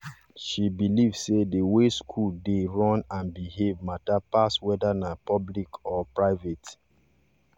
she believe say the way school dey run and behave matter pass whether na public or private